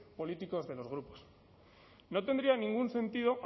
políticos de los grupos no tendría ningún sentido